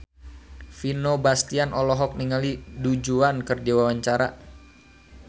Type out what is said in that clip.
Vino Bastian olohok ningali Du Juan keur diwawancara